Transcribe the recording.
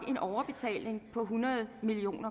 en overbetaling på hundrede million